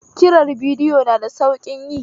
Kirar bidiyo na da sauƙin yi